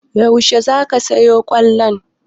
Yaushe za ka sayo kollon?